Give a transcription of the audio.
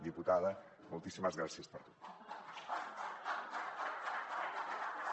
diputada moltíssimes gràcies per tot